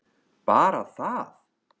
Bara það?